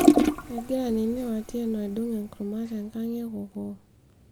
egira nini o Atieno aidong enkurma te nkang ekokoo